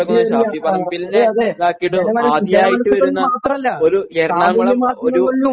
അതെ അതെ ജനമനസ്സുകളിൽ മാത്രമല്ല സാമൂഹ്യ മാധ്യമങ്ങളിലും